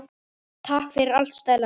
Takk fyrir allt Stella mín.